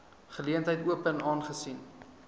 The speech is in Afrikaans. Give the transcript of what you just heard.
geleentheid open aangesien